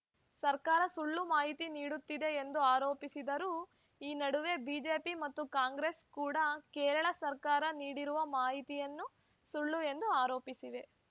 ಸರ್ಕಾರ ಸುಳ್ಳು ಮಾಹಿತಿ ನೀಡುತ್ತಿದೆ ಎಂದು ಆರೋಪಿಸಿದರು ಈ ನಡುವೆ ಬಿಜೆಪಿ ಮತ್ತು ಕಾಂಗ್ರೆಸ್‌ ಕೂಡಾ ಕೇರಳ ಸರ್ಕಾರ ನೀಡಿರುವ ಮಾಹಿತಿಯನ್ನು ಸುಳ್ಳು ಎಂದು ಆರೋಪಿಸಿವೆ